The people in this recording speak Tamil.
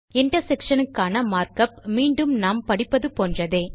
intersectionக்கான மற்குப் மீண்டும் நாம் படிப்பது போன்றதே